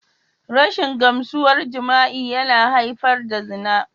Rashin gamsuwar jima'i yana haifar da zina.